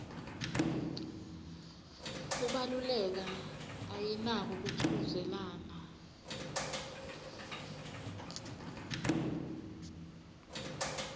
kubaluleka ayinako kuchudzelana